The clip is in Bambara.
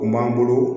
O m'an bolo